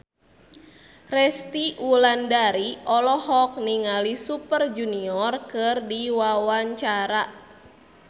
Resty Wulandari olohok ningali Super Junior keur diwawancara